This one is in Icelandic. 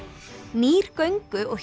nýr göngu og